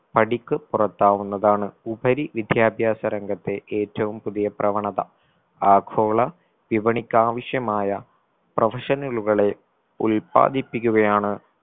പടിക്ക് പുറത്താവുന്നതാണ് ഉപരി വിദ്യാഭ്യാസ രംഗത്തെ ഏറ്റവും പുതിയ പ്രവണത ആഗോള വിപണിക്കാവശ്യമായ professional ഉകളെ ഉല്പാദിപ്പിക്കുകയാണ്